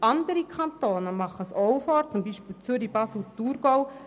Andere Kantone machen es vor, zum Beispiel die Kantone Zürich, Basel und Thurgau.